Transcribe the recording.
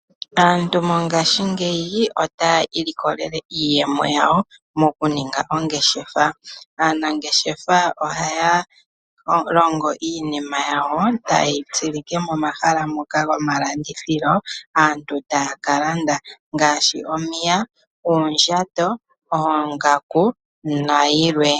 Aantu mongashingeyi otaya ilikolele iyemo yawo moku ninga ongeshefa. Aanangeshefa ohaya longo iinima yawo tayi tsilike momahala moka gomalandithilo aantu taya ka landa ngaaashi omiya, oondjato, oongaku nayi lwe.